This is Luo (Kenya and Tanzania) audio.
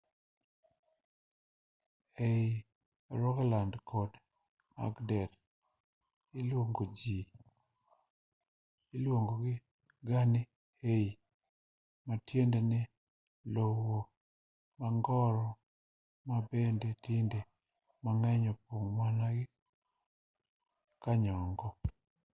ei rogaland kod agder iluongogi ga ni hei matiende ni lowo mongoro ma bende kinde mang'eny opong' mana gi kayongo